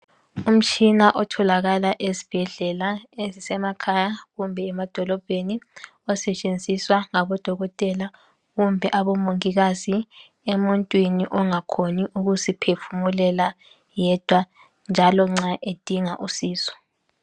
Umtshina otholakala esibhedlela ezimasemakhaya kumbe emadolobheni osetshenziswa ngaboDokotela kumbe aboMongikazi emuntwini ongakhoni ukuziphefumulela yedwa njalo nxa edinga usizo.